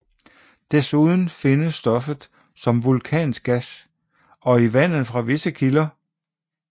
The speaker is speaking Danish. Desuden findes stoffet som vulkansk gas og i vandet fra visse kilder